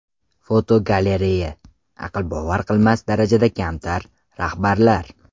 Fotogalereya: Aqlbovar qilmas darajada kamtar rahbarlar.